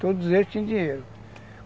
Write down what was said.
Todos eles tinham dinheiro.